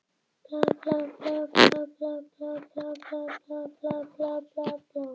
Það er allt í lagi þótt þú hafir ekki getað verið leynigestur um daginn.